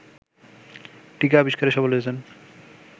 টীকা আবিস্কারে সফল হয়েছেন